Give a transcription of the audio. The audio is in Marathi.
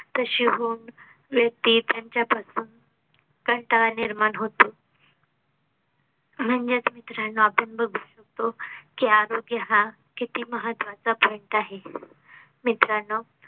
तशी होऊन व्यक्ती त्यांच्यापासून कंटाळा निर्माण होतो म्हणजेच मित्रांनो आपण बघू शकतो कि आरोग्य हा किती महत्वाचा point आहे मित्रांनो